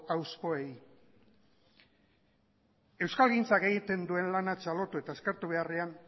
hauspoei euskalgintzak egiten duen lana txalotu eta eskertu beharrean